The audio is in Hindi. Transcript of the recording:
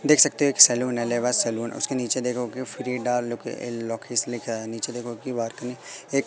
देख सकते हैं कि एक सैलून है। सैलून उसके नीचे देखो की लिखा है नीचे देखो की एक--